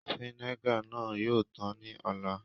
Vínègà náà yoo tan ní ò̩lá.